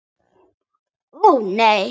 Ó, nei!